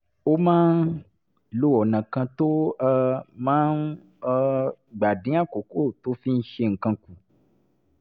ó máa ń lo ọ̀nà kan tó um máa ń um gbà dín àkókò tó fi ń ṣe nǹkan kù